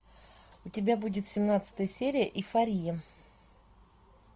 у тебя будет семнадцатая серия эйфория